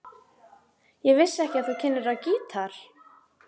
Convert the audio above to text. Ég vissi ekki að þú kynnir á gítar.